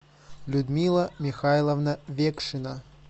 людмила михайловна векшина